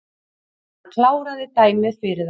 Hann kláraði dæmið fyrir þá